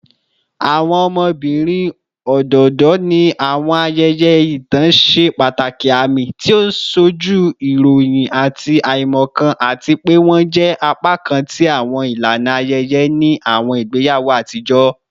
Awọn ọmọbirin ododo ni awọn ayẹyẹ itan ṣe pataki aami, ti o nsoju irọyin ati aimọkan, ati pe wọn jẹ apakan ti awọn ilana ayẹyẹ ni awọn igbeyawo atijọ